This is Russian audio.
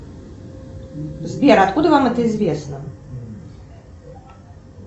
сбер откуда вам это известно